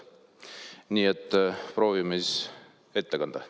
Nii et proovime siis ette kanda.